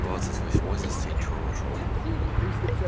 двадцать восьмой застенчиво вошёл